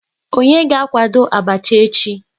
Onye ga akwado abacha echi?